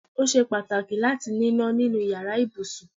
Ó ṣe pàtàkì láti níná nínú iyàrá ibùsùn